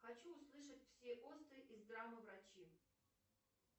хочу услышать все осты из драмы врачи